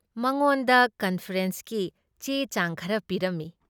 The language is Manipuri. ꯃꯉꯣꯟꯗ ꯀꯟꯐꯔꯦꯟꯁꯀꯤ ꯆꯦ ꯆꯥꯡ ꯈꯔ ꯄꯤꯔꯝꯃꯤ ꯫